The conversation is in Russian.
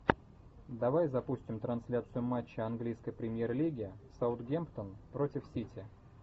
давай запустим трансляцию матча английской премьер лиги саутгемптон против сити